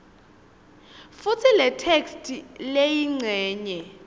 futsi letheksthi leyincenye